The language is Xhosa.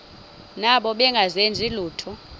nabo bengazenzi lutho